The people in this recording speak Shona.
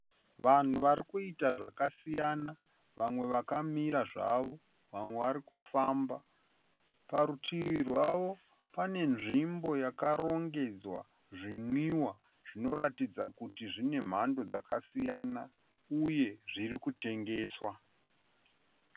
Vanhu vari kuita zvakasiyana. Vamwe vakamira zvavo vamwe vari kufamba. Parutivi rwavo pane nzvimbo yakarongedzwa zvinwiwa zvinoratidza kuti zvine mhando yakasiyana uye zviri kutengeswa.